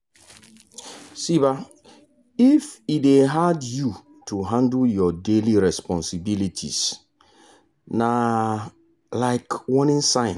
um if e de hard you to handle your daily responsibilities na um warning sign.